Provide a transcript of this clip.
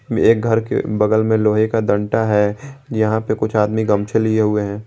में एक घर के बगल में लोहे का दंटा है जहां पे कुछ आदमी गमछे लिए हुए हैं।